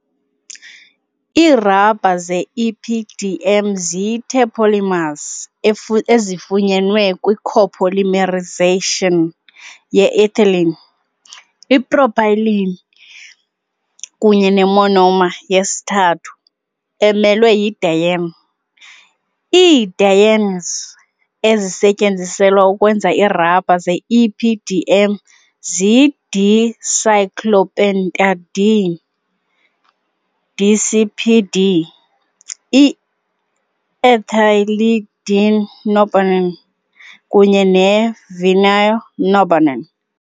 Iirabha ze-EPDM ziyi -terpolymers ezifunyenwe kwi- copolymerization ye -ethylene, ipropylene kunye ne-monomer yesithathu emelwe yi- diene . Ii-dienes ezisetyenziselwa ukwenza iirabha ze-EPDM ziyi- dicyclopentadiene DCPD, i-ethylidene norbornene, ENB, kunye ne -vinyl norbornene, VNB.